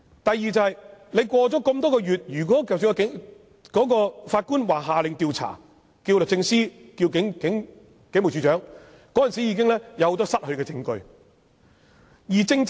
第二，事隔多月，即使法官下令要求律政司或警務處處長進行調查，很多證據已經失去。